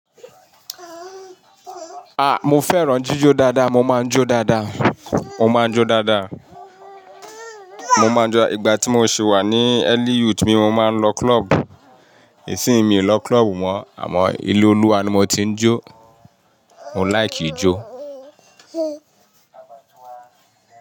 A! Mo fẹ́ràn jíjó dáadáa, mo máa ń jó dáadáa, mo máa ń jó dáadáa, mo máa ń jó dáadáa. Ìgbà tí mo sì wà ní ẹ́Lí yUt mí mo máa ń lọ club. Isìín mi ò lọ club mọ́, àmọ́ ilé Olúwa ni mo ti ń jó. Mo like ijó.